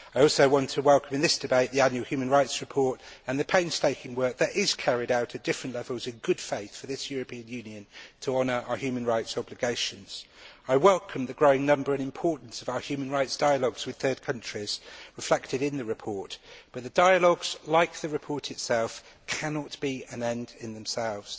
I also want to welcome in this debate the annual human rights report and the painstaking work that is carried out at different levels in good faith for this European Union to honour our human rights obligations. I welcome the growing number and importance of our human rights dialogues with third countries reflected in the report, but the dialogues, like the report itself, cannot be an end in themselves.